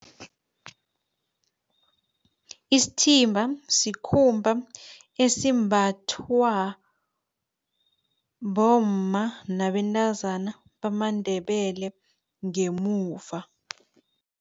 Isithimba sikhumba esimbathwa bomma nabentazana, bamaNdebele ngemuva.